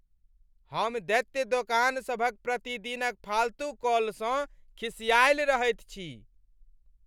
हम दैत्य दोकान सभ क प्रतिदिन क फालतू कॉलसँ खिसाआएल रहैत छी।